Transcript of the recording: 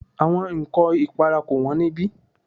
Àwọn ǹkọ ìpara kò wón ní ibí.